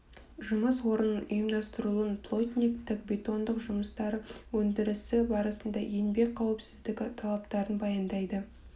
жұмыс орнының ұйымдастырылуын плотниктік бетондық жұмыстар өндірісі барысында еңбек қауіпсіздігі талаптарын баяндайды